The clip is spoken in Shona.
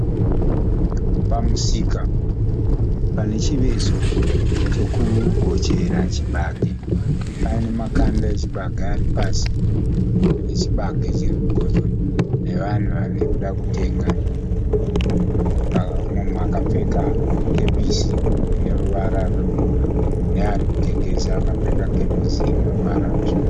Pamusika pane chiveso chokugochera chibage pane makanda echibage ari pasi nechibage chiri kugochwa nevanhu vari kuda kutenga. Mumwe munhu akapfeka kepisi ine ruvara rwemvura neari kutengesa akapfeka kepisi ine ruvara rutsvuku.